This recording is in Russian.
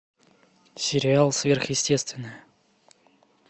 сериал сверхъестественное